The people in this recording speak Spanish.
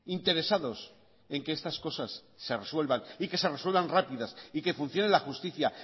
interesados en que estas cosas se resuelvan y que se resuelvan rápidas y que funcione la justicia